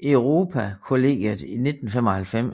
Europakollegiet i 1995